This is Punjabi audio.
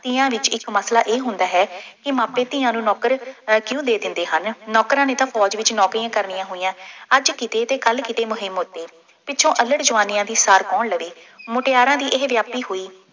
ਤੀਆਂ ਵਿੱਚ ਇੱਕ ਮਸਲਾ ਇਹ ਹੁੰਦਾ ਹੈ ਕਿ ਮਾਪੇ ਧੀਆਂ ਨੂੰ ਨੌਕਰ ਕਿਉਂ ਦੇ ਦਿੰਦੇ ਹਨ। ਨੌਕਰਾਂ ਨੇ ਤਾਂ ਫੌਜ ਵਿੱਚ ਨੌਕਰੀਆਂ ਕਰਨੀਆਂ ਹੋਈਆਂ, ਅੱਜ ਕਿਤੇ ਤੇ ਕੱਲ੍ਹ ਕਿਤੇ ਮੂੰਹੀ ਮੁੜਨੀ, ਪਿੱਛੌ ਅੱਲੜ੍ਹ ਜਵਾਨੀਆਂ ਦੀ ਸਾਰ ਕੌਣ ਲਵੇ। ਮੁਟਿਆਂਰਾਂ ਦੀ ਇਹ ਹੋਈ